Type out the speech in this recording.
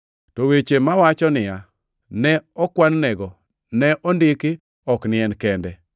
To weche mawacho niya, “ne okwan nego,” ne ondiki ok ni en kende,